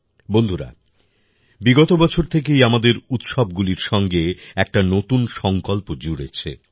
বন্ধুরা বিগত বছর থেকে আমাদের উৎসবগুলির সঙ্গে একটি নতুন সংকল্প জুড়েছে